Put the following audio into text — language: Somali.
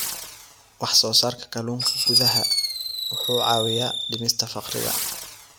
Wax-soo-saarka kalluunka gudaha wuxuu caawiyaa dhimista faqriga.